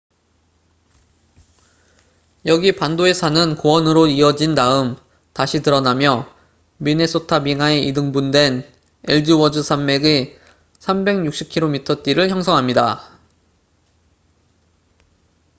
여기 반도의 산은 고원으로 이어진 다음 다시 드러나며 미네소타 빙하에 이등분된 엘즈워스 산맥의 360km 띠를 형성합니다